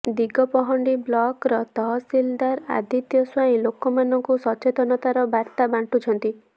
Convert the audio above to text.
ଦିଗପହଣ୍ଡି ବ୍ଲକର ତହସିଲଦାର ଆଦିତ୍ୟ ସ୍ୱାଇଁ ଲୋକମାନଙ୍କୁ ସଚେତନତାର ବାର୍ତ୍ତା ବାଣ୍ଟୁଛନ୍ତି